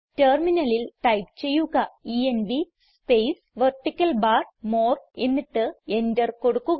ടെർമിനലിൽ ടൈപ്പ് ചെയ്യുക env space vertical bar more എന്നിട്ട് എന്റർ കൊടുക്കുക